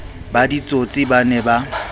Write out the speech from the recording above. ba ditsotsi ba ne ba